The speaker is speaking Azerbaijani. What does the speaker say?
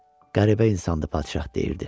Qəribə insandır padşah deyirdi.